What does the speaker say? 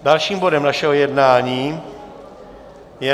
Dalším bodem našeho jednání je